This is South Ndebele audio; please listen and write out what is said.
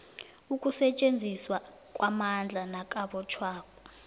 ukusetjenziswa kwamandla nakubotjhwa